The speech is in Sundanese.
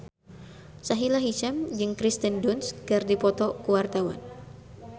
Sahila Hisyam jeung Kirsten Dunst keur dipoto ku wartawan